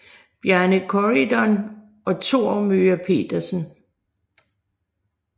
Bjarne Corydon og Thor Möger Pedersen